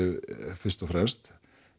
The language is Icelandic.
fyrst og fremst